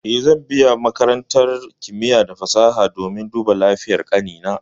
Eh, zan biya makarantar kimiya da fasaha domin duba lafiyar ƙanina.